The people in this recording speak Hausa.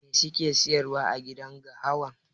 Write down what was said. Mai suke siyarwa agidan gahawan?